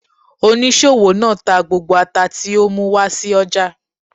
Oníṣòwò náà tà gbógbó àtá ti ọ mú wá sí ọja.